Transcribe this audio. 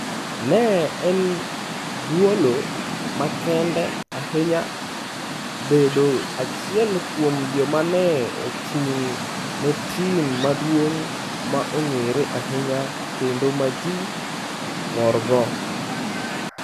Ne en thuolo makende ahinya bedo achiel kuom joma ne ochung' ne tim maduong' ma ong'ere ahinya kendo ma ji morgo.